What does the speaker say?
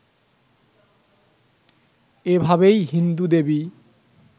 এভাবেই হিন্দু দেবী